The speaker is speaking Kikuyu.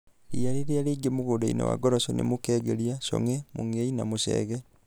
Ria rĩrĩa raingĩ mũguũnda wa ngoroco nĩ mũkengeria , chong'e, mũngei na mũchege.